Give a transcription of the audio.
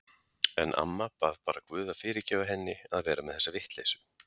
En amma bað bara guð að fyrirgefa henni að vera með þessa vitleysu.